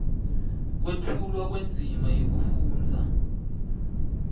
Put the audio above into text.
kwetfulwa kwendzima yekufundza